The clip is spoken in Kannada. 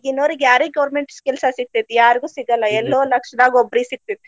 ಈಗಿನವ್ರ ಯಾರಿಗೆ government ಕೆಲ್ಸಾ ಸಿಗ್ತೇತಿ ಯಾರಿಗೂ ಸಿಗಲ್ಲಾ ಎಲ್ಲೋ ಲಕ್ಷದಾಗ ಒಬ್ರಿಗ ಸಿಗ್ತೇತಿ.